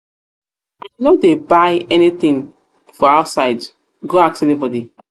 i no dey buy anyhow thing for outside go ask anybody.